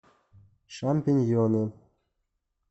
шампиньоны